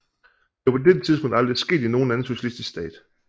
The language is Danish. Det var på dette tidspunkt aldrig sket i nogen anden socialistisk stat